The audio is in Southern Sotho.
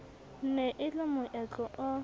ne e le moetlo o